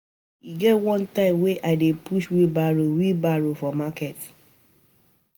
My pikin e get one time wen I dey push wheel barrow wheel barrow for market